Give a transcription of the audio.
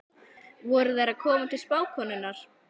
Voru þær að koma til spákonunnar?